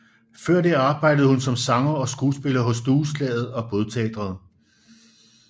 Før det arbejdede hun som sanger og skuespiller hos Dueslaget og Bådteatret